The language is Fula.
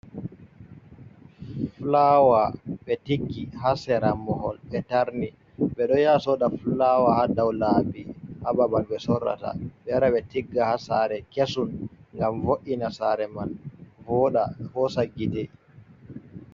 Fulawa ɓe tiggi haa sera mahol ɓe tarni, ɓe ɗo yaha sooda fulawa haa dow laabi.A babal ɓe sorrata, ɓe wara ɓe tigga haa saare kesum. Ngam vo'’ina saare man voaɗa hoosa gite.